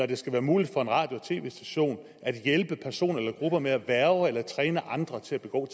det skal være muligt for en radio og tv station at hjælpe personer eller grupper med at hverve eller træne andre til at begå